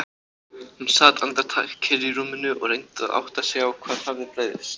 Hún sat andartak kyrr í rúminu og reyndi að átta sig á hvað hafði breyst.